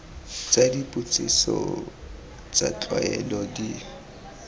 tsa dipotsiso tsa tlwaelo di